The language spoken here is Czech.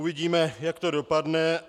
Uvidíme, jak to dopadne.